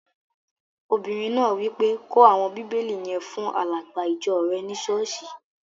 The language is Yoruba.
Obìnrin náà wí pé, 'kó àwọn bíbélì yẹn fún alàgbà ìjọ rẹ ní sọ́ọ̀sì!